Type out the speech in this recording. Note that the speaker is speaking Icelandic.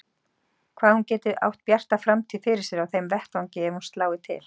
Hvað hún geti átt bjarta framtíð fyrir sér á þeim vettvangi ef hún slái til.